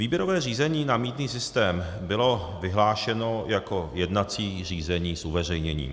Výběrové řízení na mýtný systém bylo vyhlášeno jako jednací řízení s uveřejněním.